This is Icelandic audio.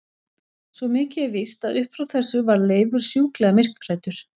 Svo mikið er víst að upp frá þessu varð Leifur sjúklega myrkhræddur.